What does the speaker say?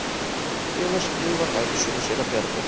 Viðar skrifar ævisögu séra Bjarna